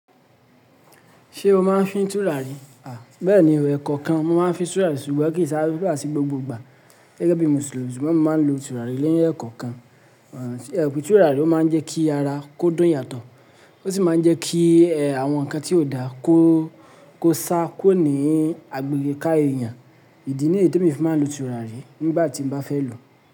Ṣé o máa ń fín tùràrí? À, bẹ́ẹ̀ni ẹ̀kọ̀kan máa ń fín tùràrí ṣùgbọ́n kì í sáré láti gbogbo ìgbà gẹ́gẹ́ bí Mùsùlùmí ṣùgbọ́n mo máa ń lo tùràrí lẹ́yìn ẹ̀kọ̀kan. Ẹ̀ òpì tùràrí ó máa ń jẹ́ kí ara kó dùn yàtọ̀ ó sì máa ń jẹ́ kí àwọn ǹkan tí ò dáa kó sá kúrò ní agbègbè ká èèyàn. Ìdí ní yèn témi fi máa ń lo tùràrí nígbà tí mo bá fẹ́ lòó.